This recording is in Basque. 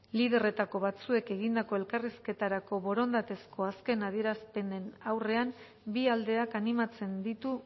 liderretako batzuek egindako elkarrizketarako borondatezko azken adierazpenen aurrean bi aldeak animatzen ditu